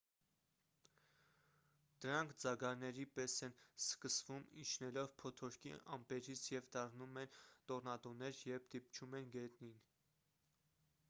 դրանք ձագարների պես են սկսվում իջնելով փոթորկի ամպերից և դառնում են տոռնադոներ երբ դիպչում են գետնին